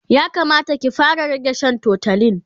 ya Kamata ki fara rage Shan tutolin